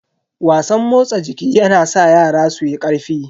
Wasan motsa jiki yana sa yara suyi karfi.